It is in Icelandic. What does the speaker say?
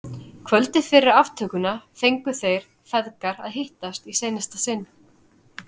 Kvöldið fyrir aftökuna fengu þeir feðgar að hittast í seinasta sinn.